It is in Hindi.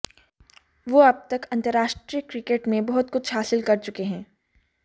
वो अब तक अंतरराष्ट्रीय क्रिकेट में बहुत कुछ हासिल कर चुके हैं